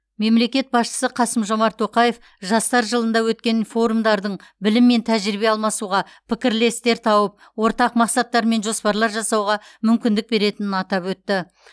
мемлекет басшысы қасым жомарт тоқаев жастар жылында өткен форумдардың білім мен тәжірибе алмасуға пікірлестер тауып ортақ мақсаттар мен жоспарлар жасауға мүмкіндік беретінін атап өтті